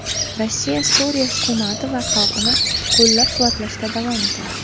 Rossiya Suriya hukumati va xalqini qo‘llab-quvvatlashda davom etadi.